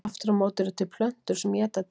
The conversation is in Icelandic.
Aftur á móti eru til plöntur sem éta dýr.